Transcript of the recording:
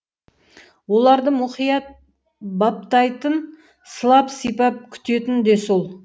оларды мұқият баптайтын сылап сипап күтетін де сол